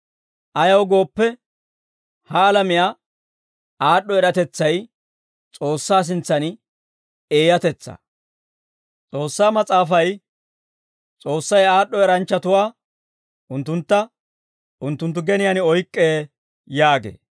Ayaw gooppe, ha alamiyaa aad'd'o eratetsay S'oossaa sintsan eeyatetsaa. S'oossaa mas'aafay, «S'oossay aad'd'o eranchchatuwaa, unttuntta unttunttu geniyaan oyk'k'ee» yaagee.